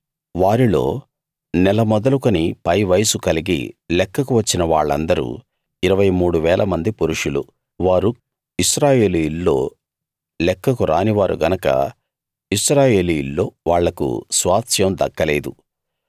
వారిల్లో నెల మొదలుకొని పై వయస్సు కలిగి లెక్కకు వచ్చిన వాళ్లందరూ 23000 మంది పురుషులు వారు ఇశ్రాయేలీయుల్లో లెక్కకు రాని వారు గనక ఇశ్రాయేలీయుల్లో వాళ్లకు స్వాస్థ్యం దక్కలేదు